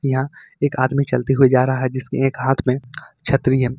यहां पर एक आदमी चलते हुए जा रहा है जिसके एक हाथ में छतरी है।